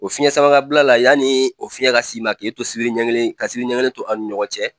O fiɲɛsamakabila la yanni o fiɲɛ ka s'i ma k'e to sibiri ɲɛ kelen ka siri ɲɛ kelen to a ni ɲɔgɔn cɛ,